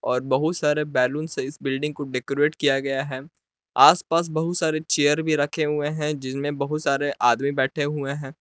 और बहुत सारे बैलून से इस बिल्डिंग को डेकोरेट किया गया है। आसपास बहुत सारे चेयर भी रखे हुए हैं जिनमें बहुत सारे आदमी बैठे हुए हैं।